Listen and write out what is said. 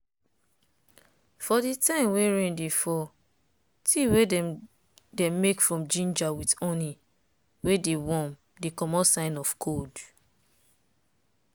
for di time wey rain dey fall tea wey dem make from ginger with honey wey dey warm dey comot signs of cold.